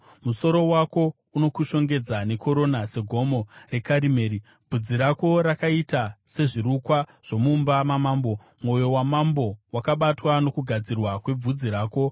Musoro wako unokushongedza nekorona seGomo reKarimeri. Bvudzi rako rakaita sezvirukwa zvomumba mamambo; mwoyo wamambo wakabatwa nokugadzirwa kwebvudzi rako.